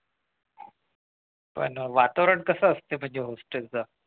पण वातावरण कसं असतं म्हणजे hostel चं